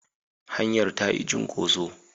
Hanyar ta yi cunkoso.